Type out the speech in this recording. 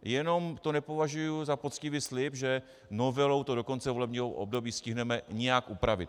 Jenom to nepovažuji za poctivý slib, že novelou to do konce volebního období stihneme nějak upravit.